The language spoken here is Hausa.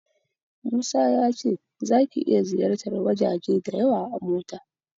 Musa ya ce zaka iya ziyartar wajaje da yawa a mota.